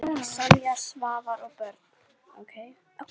Sonja, Svavar og börn.